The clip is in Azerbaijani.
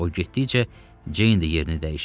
O getdikcə Ceyn də yerini dəyişir.